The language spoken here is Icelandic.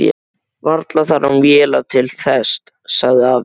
Varla þarf hann vélar til þess, sagði afi.